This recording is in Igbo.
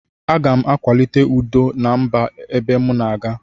Agam akwalite udo na mba ebe mu na aga.